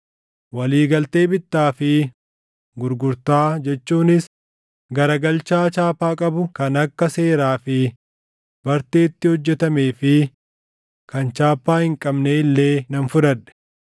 Walii galtee bittaa fi gurgurtaa jechuunis garagalchaa chaappaa qabu kan akka seeraa fi barteetti hojjetamee fi kan chaappaa hin qabnee illee nan fudhadhe;